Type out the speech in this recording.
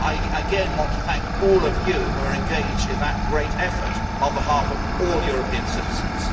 Again, I want to thank all of you who are engaged in that great effort on behalf of all European citizens.